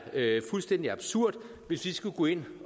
fuldstændig absurd hvis vi skulle gå ind